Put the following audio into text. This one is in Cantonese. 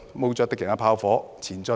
冒著敵人的炮火，前進！